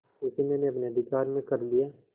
उसे मैंने अपने अधिकार में कर लिया